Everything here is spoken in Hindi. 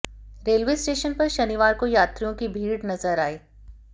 रेलवे स्टेशन पर शनिवार को यात्रियों की भीड़ नजर आयी